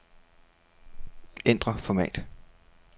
Ændr format.